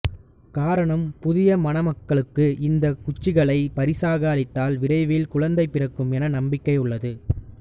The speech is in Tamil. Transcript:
காரணம் புதிய மணமக்களுக்கு இந்த குச்சிகளை பரிசாக அளித்தால் விரைவில் குழந்தை பிறக்கும் என்ற நம்பிக்கை உள்ளது